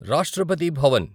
Rashtrapati Bhavan